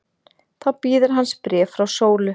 Þá bíður hans bréf frá Sólu.